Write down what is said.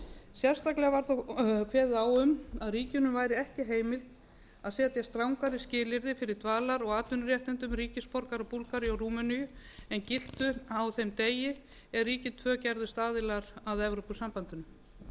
sérstaklega var þó kveðið á um að ríkinu væri ekki heimilt að setja strangari skilyrði fyrir dvalar og atvinnuréttindum ríkisborgara búlgaríu og rúmeníu en giltu á þeim degi er ríkin tvö gerðust aðilar að evrópusambandinu